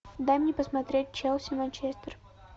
дай мне посмотреть челси манчестер